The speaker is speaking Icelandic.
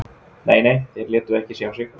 Nei, nei, þeir létu ekki sjá sig